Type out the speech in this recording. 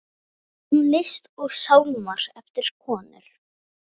Tónlist og sálmar eftir konur.